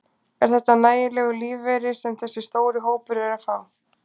Er þetta nægjanlegur lífeyri sem þessi stóri hópur er að fá?